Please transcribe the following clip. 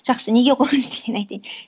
жақсы неге қорқынышты екенін айтайын